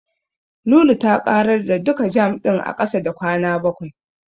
Lulu ta ƙarar da duka jam ɗin a ƙasa da kwana bakwai.